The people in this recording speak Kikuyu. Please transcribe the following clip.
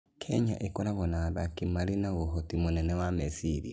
Kenya ĩkoragwo na athaki marĩ na ũhoti mũnene wa meciria.